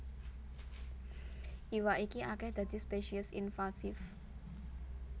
Iwak iki akèh dadi spesies invasif